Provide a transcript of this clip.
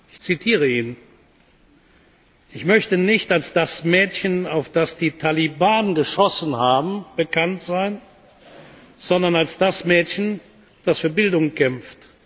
Ich zitiere ihn Ich möchte nicht als das Mädchen, auf das die Taliban geschossen haben, bekannt sein, sondern als das Mädchen, das für Bildung kämpft.